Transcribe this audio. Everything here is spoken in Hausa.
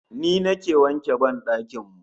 Ni nake wanke ban dakin mu